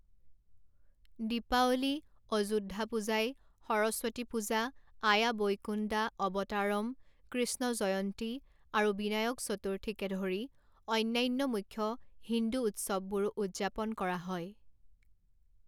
দীপাৱলী, অযোদ্ধা পূজাই, সৰস্বতী পূজা, আয়া বৈকুণ্ডা অৱতাৰম, কৃষ্ণ জয়ন্তী আৰু বিনায়ক চতুৰ্থীকে ধৰি অন্যান্য মুখ্য হিন্দু উৎসৱবোৰো উদযাপন কৰা হয়।